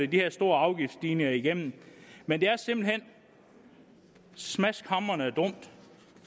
her store afgiftsstigninger igennem men det er simpelt hen smaskhamrende dumt